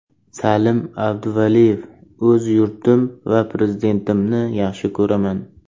Salim Abduvaliyev: O‘z yurtim va Prezidentimni yaxshi ko‘raman.